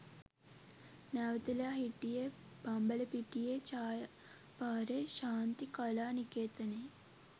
නැවතිලා හිටියේ බම්බලපිටියේ ඡයා පාරේ ශාන්ති කලා නිකේතනයේ